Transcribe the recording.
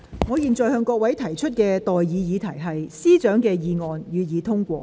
我現在向各位提出的待議議題是：律政司司長動議的議案，予以通過。